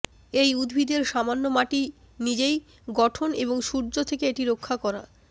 এই উদ্ভিদের সামান্য মাটি নিজেই গঠন এবং সূর্য থেকে এটি রক্ষা